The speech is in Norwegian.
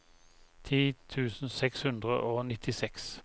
ti tusen seks hundre og nittiseks